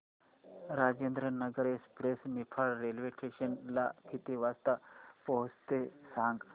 Rajendranagar express Niphad railway station ला किती वाजता पोहचते ते सांग